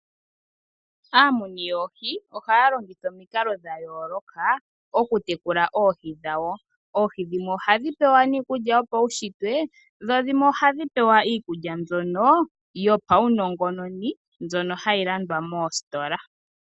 Aamuni yoohi ohayalongitha omikalo dhayooloka okutekula oohi dhawo, oohi dhimwe ohadhipewa iikulya yopawuntsitwe dho dhimwe ohadhi pewa iikulya mbyono yopawunongononi mbyoka hayilandwa moositola.